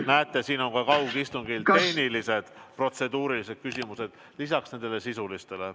Näete, siin on ka kaugistungi tehnilised küsimused lisaks sisulistele küsimustele.